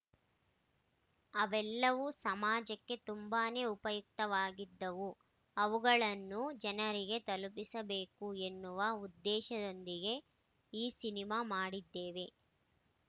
ಅವೆಲ್ಲವೂ ಸಮಾಜಕ್ಕೆ ತುಂಬಾನೆ ಉಪಯುಕ್ತವಾಗಿದ್ದವು ಅವುಗಳನ್ನು ಜನರಿಗೆ ತಲುಪಿಸಬೇಕು ಎನ್ನುವ ಉದ್ದೇಶದೊಂದಿಗೆ ಈ ಸಿನಿಮಾ ಮಾಡಿದ್ದೇವೆ